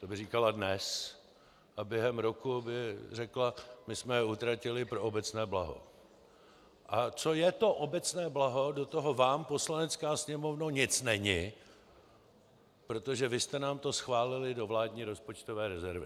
To by říkala dnes a během roku by řekla: My jsme je utratili pro obecné blaho a co je to obecné blaho, do toho vám, Poslanecká sněmovno, nic není, protože vy jste nám to schválili do vládní rozpočtové rezervy.